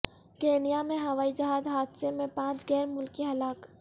Kenya میں ہوائی جہاز حادثے میں پانچ غیر ملکی ہلاک